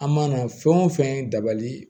An mana fɛn o fɛn dabali